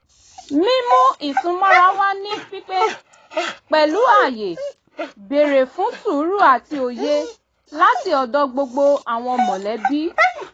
mímú ìsúnmọ́ra wà ní pípé pẹ̀lú ààyè bèrè fún sùúrù àti òye láti ọ̀dọ̀ gbogbo àwọn mọ̀lẹ́bí